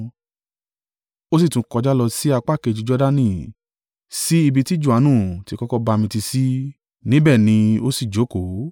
Ó sì tún kọjá lọ sí apá kejì Jordani sí ibi tí Johanu ti kọ́kọ́ ń bamitiisi; níbẹ̀ ni ó sì jókòó.